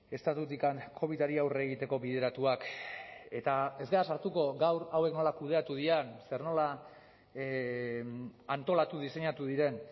estatutik covidari aurre egiteko bideratuak eta ez gara sartuko gaur hauek nola kudeatu diren zer nola antolatu diseinatu diren